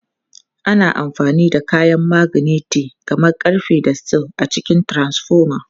Ana amfani da kayan maganeti kamar ƙarfe da steel a cikin transfoma.